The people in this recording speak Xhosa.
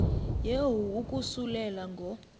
yehu ukususela ngo